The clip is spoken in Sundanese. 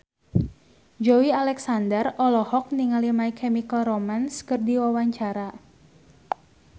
Joey Alexander olohok ningali My Chemical Romance keur diwawancara